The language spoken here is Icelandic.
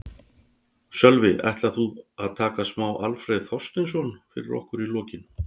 Sölvi: Ætlarðu að taka smá Alfreð Þorsteinsson fyrir okkur í lokin?